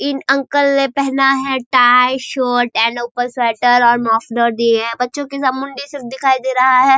इन uncle ने पहना है टाय शर्ट एंड ऊपर से स्वेटर और मफलर दिए हैं बच्चों के सर मुंडी सिर्फ दिखाई दे रहा है।